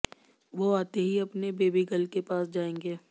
वो आते ही अपने बेबी गर्ल के पास जाएंगे